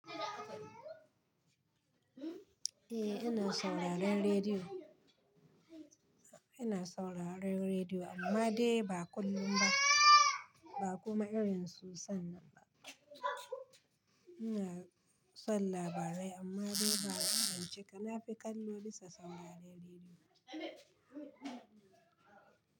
Eh ina sauraron rediyo. Ina sauraron rediyo amma dai ba kullum ba, ba kuma irin su san nan ba. Ina son labarai amma dai ba na cancika. Na fi kallo bisa sauraron rediyo.